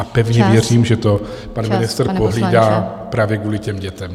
A pevně věřím, že to pan ministr pohlídá právě kvůli těm dětem.